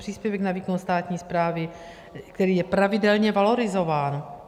Příspěvek na výkon státní správy, který je pravidelně valorizován.